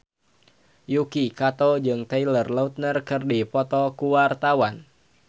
Yuki Kato jeung Taylor Lautner keur dipoto ku wartawan